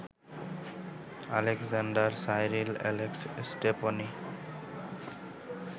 Alexander Cyril Alex Stepney